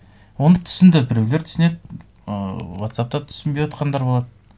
оны түсінді біреулер түсінеді ыыы вотсаппта түсінбей отырғандар болады